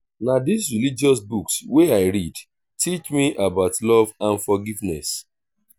na dis religious books wey i read teach me about love and forgiveness.